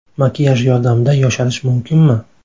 Makiyaj yordamida yosharish mumkinmi?.